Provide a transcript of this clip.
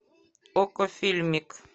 окко фильмик